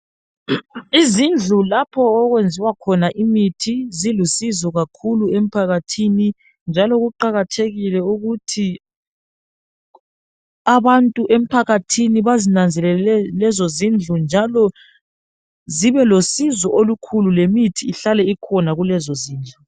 Izindlu lapho okwenziwa khona imithi silusizo kakhulu emphakathini njalo kuqakathekile ukuthi abantu emphakathini bazinanzelele lezo zindlu njalo zibe losizo olukhulu lemithi ihlale ikhona kulezo zindlu.